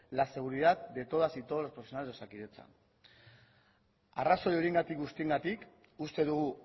la seguridad de todas y todos los profesionales de osakidetza arrazoi horiengatik guztiengatik uste dugu